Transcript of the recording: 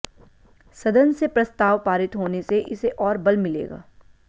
सदन से प्रस्ताव पारित होने से इसे और बल मिलेगा